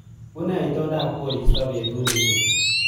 Unee itondab koristo betut nesupi